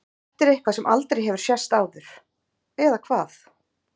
Þetta er eitthvað sem aldrei hefur sést áður. eða hvað?